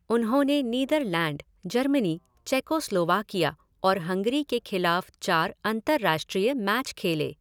उन्होंने Netherlands, Germany, Czechoslovakia और Hungary के खिलाफ चार अंतरराष्ट्रीय मैच खेले।